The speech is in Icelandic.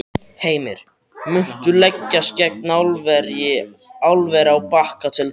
Heimir: Muntu leggjast gegn álveri á Bakka til dæmis?